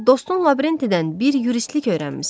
Dostun Lavrentidən bir juristlik öyrənmisən.